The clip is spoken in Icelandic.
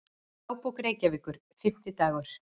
Dagbók Reykjavíkur, Fimmtidagur